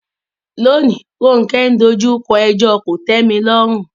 Lónìí, Ronke dojú kọ ẹjọ́ ìmúmọ́